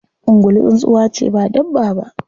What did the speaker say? Ungulu tsuntsuwa ce ba dabba ba.